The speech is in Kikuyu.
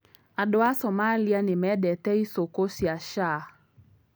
Andũ a Somalia nĩ mendete icukũ cia shaah.